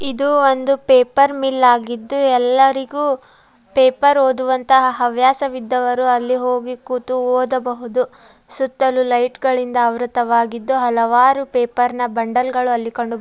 ಇದು ಒಂದು ಪೇಪರ್ ಮಿಲ್ಲಾಗಿದ್ದು ಎಲ್ಲರಿಗೂ ಪೇಪರ್ ಓದುವಂತಹ ಹವ್ಯಾಸವಿದ್ದವರು ಅಲ್ಲಿ ಹೋಗಿ ಕೂತು ಓದಬಹುದು. ಸುತ್ತಲೂ ಲೈಟ್ ಗಳಿಂದ ಆವೃತವಾಗಿದ್ದು ಹಲವಾರು ಪೇಪರ್ ನ ಬಂಡಲ್ ಗಳು ಅಲ್ಲಿ ಕಂಡು--